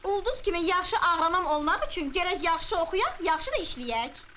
Ulduz kimi yaxşı ağrınan olmaq üçün gərək yaxşı oxuyaq, yaxşı da işləyək.